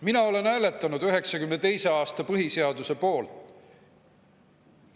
Mina hääletasin 1992. aasta põhiseaduse poolt.